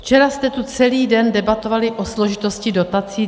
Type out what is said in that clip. Včera jste tu celý den debatovali o složitosti dotací.